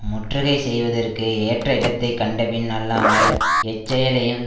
முற்றுகை செய்வதற்கு ஏற்ற இடத்தை கண்டபின் அல்லாமல் எச் செயலையும்